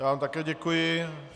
Já vám také děkuji.